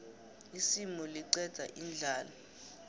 isimu liqeda indlala